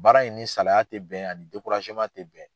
Baara in ni salaya te bɛn ani te bɛn.